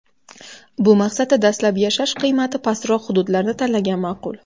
Bu maqsadda dastlab yashash qiymati pastroq hududlarni tanlagan ma’qul.